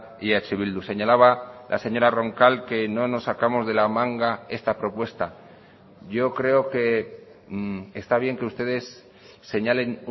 y eh bildu señalaba la señora roncal que no nos sacamos de la manga esta propuesta yo creo que está bien que ustedes señalen